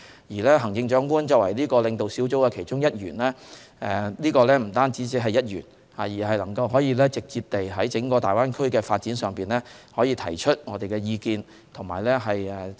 而行政長官作為該領導小組的其中一員，不僅只是一員，而是可直接在整個大灣區的發展上提出我們的意見。